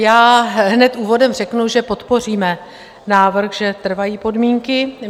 Já hned úvodem řeknu, že podpoříme návrh, že trvají podmínky.